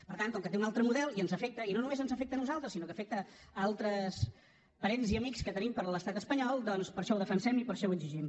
per tant com que té un altre model i ens afecta i no només ens afecta a nosaltres sinó que afecta altres parents i amics que tenim per l’estat espanyol doncs per això ho defensem i per això ho exigim